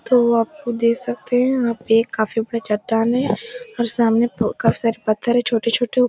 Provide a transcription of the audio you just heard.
तो आप खुद देख सकतें है यहाँ पे काफी बड़े चट्टान है और सामने काफ़ी सारे पत्थर हैं छोटे-छोटे वो --